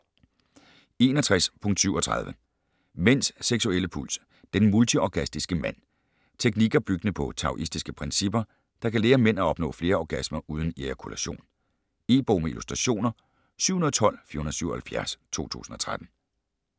61.37 Mænds seksuelle puls: den multiorgastiske mand Teknikker, byggende på taoistiske principper, der kan lære mænd at opnå flere orgasmer uden ejakulation. E-bog med illustrationer 712477 2013.